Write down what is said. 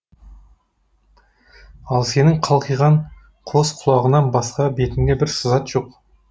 ал сенің қалқиған қос құлағыңнан басқа бетіңде бір сызат жоқ